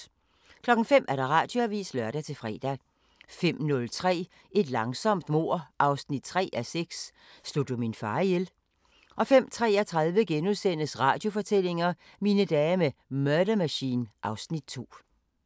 05:00: Radioavisen (lør-fre) 05:03: Et langsomt mord 3:6 – Slog du min far ihjel? 05:33: Radiofortællinger: Mine dage med Murder Machine (Afs. 2)*